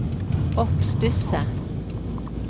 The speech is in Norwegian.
oppstusset